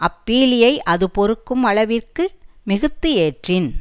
அப்பீலியை அது பொறுக்கும் அளவின்றி மிகுத்து ஏற்றின்